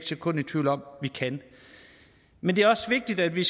sekund i tvivl om at vi kan men det er også vigtigt at vi